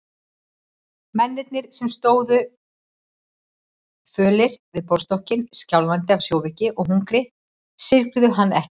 Mennirnir sem stóðu fölir við borðstokkinn, skjálfandi af sjóveiki og hungri, syrgðu hann ekki.